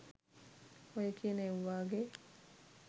ඔය කියන එව්වාගේ